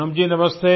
पूनम जी नमस्ते